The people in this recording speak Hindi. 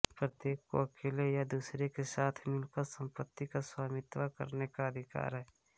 प्रत्येक को अकेले या दूसरे के साथ मिलकर संपत्ति पर स्वामित्व करने का अधिकार है